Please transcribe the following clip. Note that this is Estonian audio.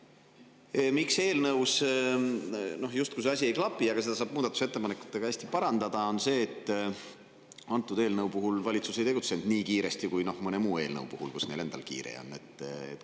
Põhjus, miks eelnõus justkui see asi ei klapi – aga seda saab muudatusettepanekutega parandada –, on see, et antud eelnõu puhul valitsus ei tegutsenud nii kiiresti kui mõne muu eelnõu puhul, millega neil endal kiire on.